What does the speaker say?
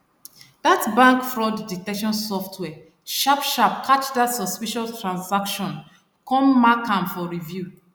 that bank fraud detection software sharp sharp catch that suspicious transaction come mark am for review